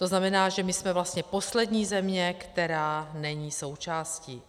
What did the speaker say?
To znamená, že my jsme vlastně poslední země, která není součástí.